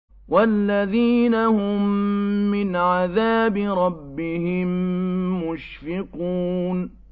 وَالَّذِينَ هُم مِّنْ عَذَابِ رَبِّهِم مُّشْفِقُونَ